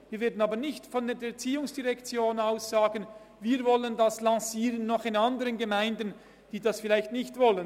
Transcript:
Wir würden aber nicht von der ERZ aus sagen, dass wir dies auch in anderen Gemeinden lancieren wollen, die es vielleicht nicht wollen.